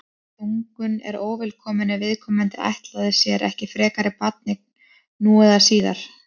þungun er óvelkomin ef viðkomandi ætlaði sér ekki frekari barneign nú eða síðar